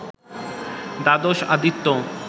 দ্বাদশ আদিত্য